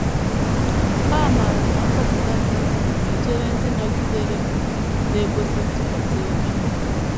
Ha maara na nzọpụta dị ebube na - echere ndị nọgidere na - ekwesị ntụkwasị obi.